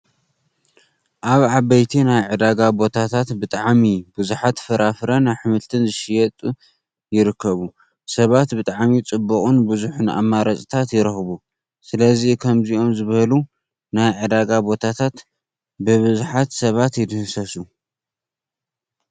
ኣብ ዓበይቲ ናይ ዕዳጋ ቦታታት ብጣዕሚ ብዙሓት ፍራፍረን ኣሕምልትን ዝሽየጥ ይርከቡ። ሰባት ብጣዕሚ ፅቡቅን ብዙሕን ኣማራፅታት ይረኽቡ። ስለዚ ከምዚኦም ዝበሉ ናይ ዕዳጋ ቦታታት ብቡዙሓት ሰባት ይድህሰሱ።